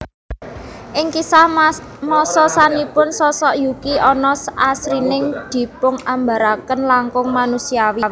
Ing kisah masa sapunika sosok Yuki onna asring dipungambaraken langkung manusiawi